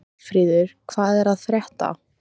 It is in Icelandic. Hallfríður, hvað er að frétta?